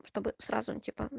чтобы сразу типа